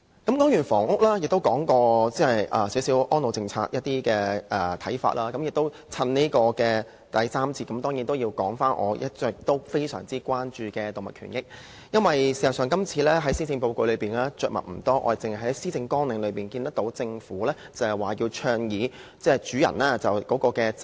討論完房屋，亦討論了對安老政策的一些看法，在第三個辯論環節，我當然要討論我一直非常關注的動物權益，因為政府今次在施政報告中對此議題實在着墨不多，我們只在施政綱領中看到政府倡議主人責任。